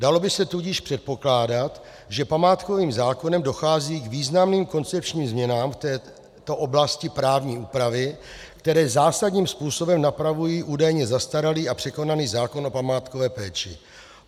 Dalo by se tudíž předpokládat, že památkovým zákonem dochází k významným koncepčním změnám v této oblasti právní úpravy, které zásadním způsobem napravují údajně zastaralý a překonaný zákon o památkové péči.